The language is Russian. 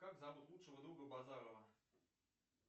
как зовут лучшего друга базарова